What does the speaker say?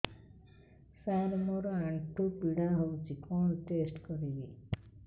ସାର ମୋର ଆଣ୍ଠୁ ପୀଡା ହଉଚି କଣ ଟେଷ୍ଟ କରିବି